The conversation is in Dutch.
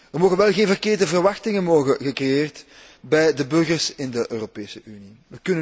Er mogen wel geen verkeerde verwachtingen worden gecreëerd bij de burgers in de Europese Unie.